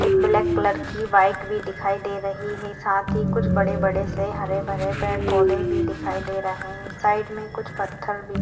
एक ब्लॅक के colour bike दिखाई दे रही है साथ ही कुछ बड़े-बड़े से हरेभरे पेड़ पौधे भी दिखाई दे रहे है साइड में कुछ पत्थर भी--